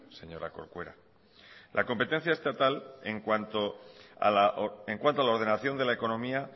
señora corcuera la competencia estatal en cuanto a la ordenación de la economía